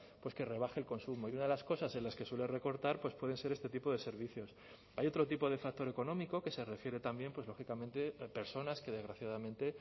pues que rebaje el consumo y una de las cosas en las que suele recortar pues pueden ser este tipo de servicios hay otro tipo de factor económico que se refiere también pues lógicamente personas que desgraciadamente